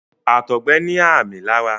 àtọgbẹ ní ààmì lára.